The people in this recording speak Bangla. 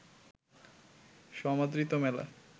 সমাদৃত মেলা